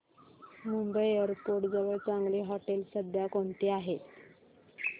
Mumbai airport जवळ चांगली हॉटेलं सध्या कोणती आहेत